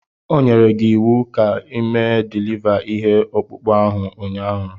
O nyere gi iwu ka mee diliva ihe ọkpụkpụ ahụ ụnyaahụ